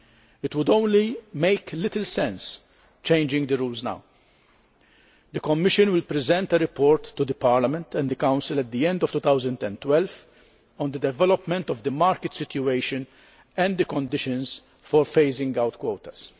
It would make little sense to change the rules now. The Commission will present a report to Parliament and the Council at the end of 2012 on the development of the market situation and the conditions for phasing out quotas.